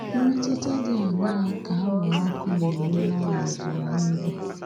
Mmetụta dị aṅaa ka anwụrụ ọkụ na-enwe n’ọnọdụ ihu igwe?